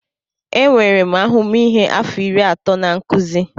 Enwere m ahụmịhe afọ iri atọ na nkuzi.